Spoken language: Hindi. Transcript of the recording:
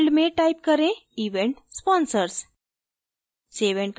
label field में type करें event sponsors